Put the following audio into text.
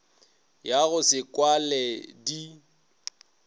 ya go se kwale di